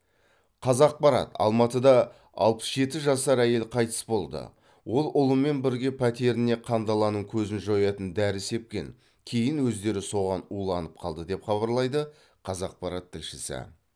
қазақпарат алматыда алпыс жеті жасар әйел қайтыс болды ол ұлымен бірге пәтеріне қандаланың көзін жоятын дәрі сепкен кейін өздері соған уланып қалды деп хабарлайды қазақпарат тілшісі